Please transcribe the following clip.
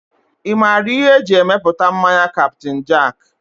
Ị maara ihe eji emepụta mmanya Captain jack?